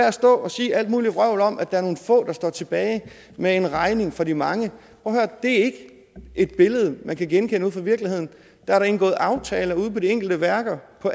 at stå og sige alt muligt vrøvl om at der er nogle få der står tilbage med en regning for de mange det er ikke et billede man kan genkende ude fra virkeligheden der er indgået aftaler ude på de enkelte værker på